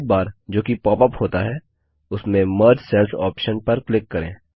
sidebar जो कि pop up होता है उसमें मर्ज सेल्स ऑप्शन पर क्लिक करें